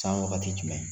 San wagati jumɛn